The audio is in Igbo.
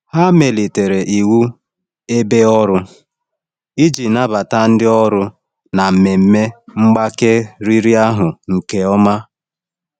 Ha emelitere iwu ebe ọrụ iji nabata ndị ọrụ na mmemme mgbake riri ahụ nke ọma.